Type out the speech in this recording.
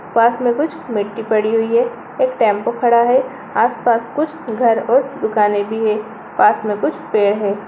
पास में कुछ मिट्टी पड़ी हुई है एक टैम्पू खड़ा है आस-पास कुछ घर और दुकाने भी हैं पास में कुछ पेड़ है।